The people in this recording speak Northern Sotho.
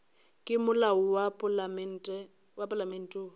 ke molao wa palamente wo